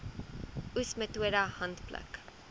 oes metode handpluk